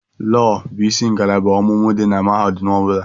Lọọ bụ isi ngalaba ọmụmụ dị na mahadum ọ bụla.